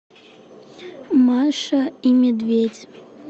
маша и медведь